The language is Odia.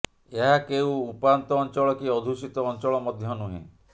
ଏହା କେଉଁ ଉପାନ୍ତ ଅଞ୍ଚଳ କି ଅଧ୍ୟୁଷିତ ଅଞ୍ଚଳ ମଧ୍ୟ ନୁହେଁ